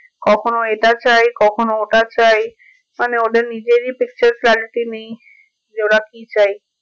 কখনো এটা চাই কখনো ওটা চাই মানে ওদের নিজেরই picture quality নেই যে ওরা কি চাই